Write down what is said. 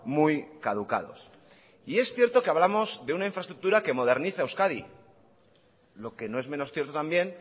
muy caducados y es cierto que hablamos de una infraestructura que moderniza euskadi lo que no es menos cierto también